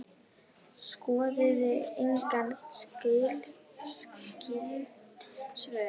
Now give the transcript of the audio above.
Skoðið einnig skyld svör